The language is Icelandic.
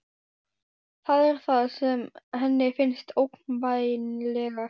Það er það sem henni finnst ógnvænlegast.